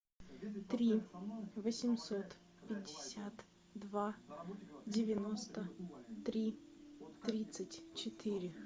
три восемьсот пятьдесят два девяносто три тридцать четыре